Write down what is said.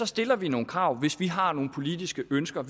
stiller vi nogle krav hvis vi har nogle politiske ønsker